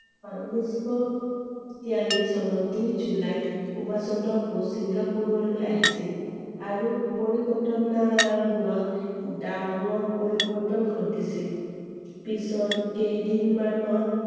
হয় ঊনৈছ শ তিৰাল্লিচ চনৰ দুই জুলাইত সুভাষ চন্দ্ৰ বসু চিঙ্গাপুৰলৈ আহিছিল i আৰু পৰিঘটনা বোৰত ডাঙৰ পৰিবৰ্তন ঘটিছিল। পিছৰ কেইদিন মানত